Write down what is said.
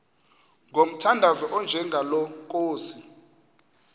ngomthandazo onjengalo nkosi